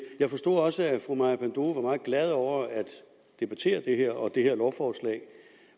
jeg forstod også at fru maja panduro var meget glad over at debattere det her og det her lovforslag